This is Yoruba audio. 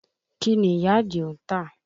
Kí ni ìyá Àdìó ń tà?